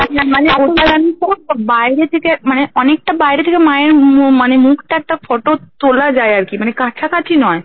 বাইরে থেকে মানে অনেকটা বাইরে থেকে মায়ের মানে মুখটার একটা photo তোলা যায় আর কি মানে কাছাকাছি নয়